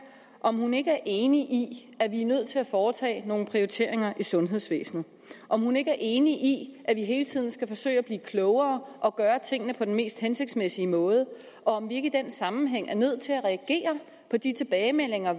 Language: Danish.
om hun ikke er enig i at vi er nødt til at foretage nogle prioriteringer i sundhedsvæsenet og om hun ikke er enig i at vi hele tiden skal forsøge at blive klogere og gøre tingene på den mest hensigtsmæssige måde og om vi ikke i den sammenhæng er nødt til at reagere på de tilbagemeldinger